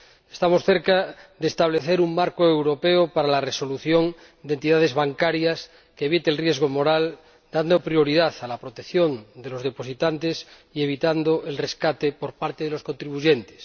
Estamos cerca de establecer un marco europeo para la resolución de entidades bancarias que evite el riesgo moral dando prioridad a la protección de los depositantes y evitando el rescate por parte de los contribuyentes.